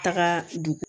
Taga don